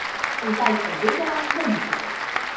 Zdaj sem vedela, da ni tako.